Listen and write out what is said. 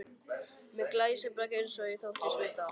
Með glæsibrag eins og ég þóttist vita.